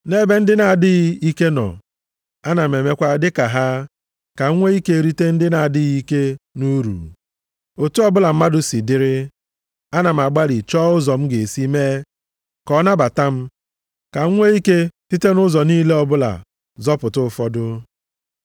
Nʼebe ndị na-adịghị ike nọ, ana m emekwa dịka ha, ka m nwee ike rite ndị na-adịghị ike nʼuru. Otu ọbụla mmadụ si dịrị, ana m agbalị chọọ ụzọ m ga-esi mee ka ọ nabata m, ka m nwee ike site nʼụzọ niile ọbụla zọpụta ụfọdụ.